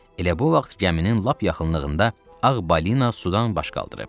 Elə bu vaxt gəminin lap yaxınlığında Ağ balina sudan baş qaldırıb.